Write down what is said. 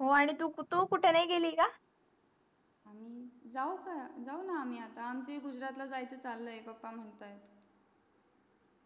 हो आणि तू कुठे नाही गेली का जाऊ ना जाऊ ना आम्ही आता गुजरात ला जायचा चालाय पप्पा म्हणतात